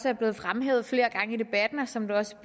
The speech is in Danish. er blevet fremhævet flere gange i debatten og som det også